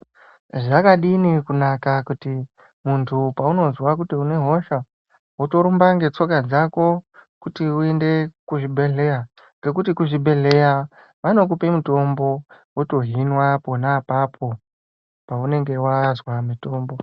Zvakadini kunaka kuti munthu paunozwa kuti une hosha wotorumba ngetsoka dzako kuti uende kuzvibhedhleya, ngekuti kuzvibhedhleya vanokupe mutombo wotohinwa pona apapo paunenge wazwa mutombo.